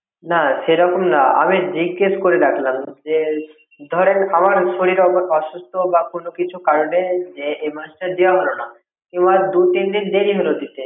না সেরকম না আমি জিজ্ঞেস করে রাখলাম যে ধরেন আমার শরীর অসুস্থ বা কোনও কিছু কারণেই এ মাসটা দেওয়া হলোনা বা দুই তিন দিন দেরি হল দিতে